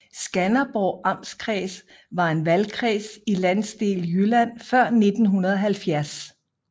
Skanderborg Amtskreds var en valgkreds i Landsdel Jylland før 1970